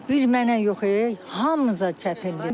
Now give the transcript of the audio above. Bir mənə yox e, hamımıza çətindir.